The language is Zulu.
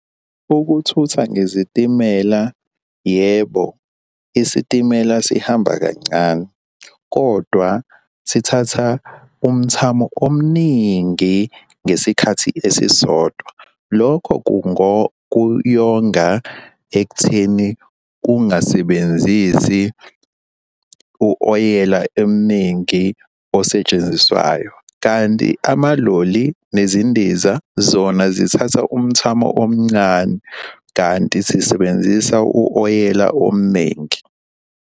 Ukuthutha ngezitimela yebo isitimela sihamba kancane, kodwa sithatha umthamo omningi ngesikhathi esisodwa. Lokho kuyonga ekutheni kungasebenzisi u-oyela eminingi osetshenziswayo, kanti amaloli nezindiza zona zithatha umthamo omncane, kanti sisebenzisa u-oyela omningi.